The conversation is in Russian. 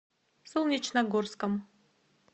солнечногорском